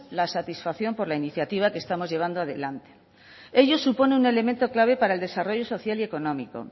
la satisfacción por la iniciativa que estamos llevando adelante ello supone un elemento clave para el desarrollo social y económico